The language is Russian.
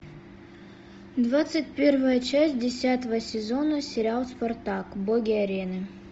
двадцать первая часть десятого сезона сериал спартак боги арены